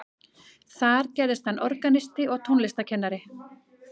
Þar gerðist hann organisti og tónlistarkennari.